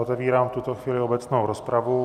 Otevírám v tuto chvíli obecnou rozpravu.